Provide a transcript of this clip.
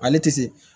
Ale tɛ se